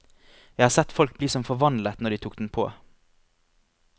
Jeg har sett folk bli som forvandlet når de tok den på.